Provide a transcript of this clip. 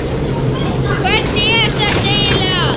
Hvernig er þetta eiginlega?